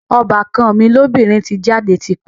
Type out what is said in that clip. Ọbàkan mi lóbìnrin ti jáde ti pẹ́